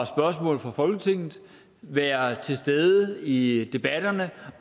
spørgsmål fra folketinget være til stede i debatterne